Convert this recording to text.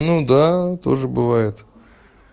ну да тоже бывает